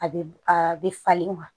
A bɛ a bɛ falen wa